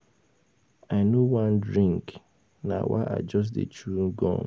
I no wan drink na why I just dey chew gum